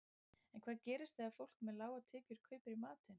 En hvað gerist þegar fólk með lágar tekjur kaupir í matinn?